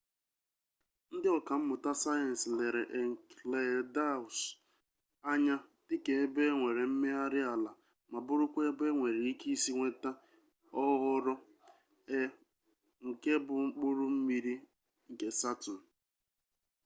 ndị ọkammụta sayensị lere enceladus anya dịka ebe e nwere mmegharị ala ma bụrụkwa ebe enwere ike isi nweta oghoghoro e nke bụ mkpụrụ mmiri nke saturn